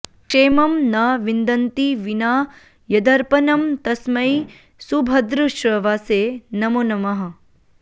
क्षेमं न विन्दन्ति विना यदर्पणं तस्मै सुभद्रश्रवसे नमो नमः